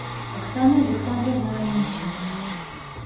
оксана александровна онищенко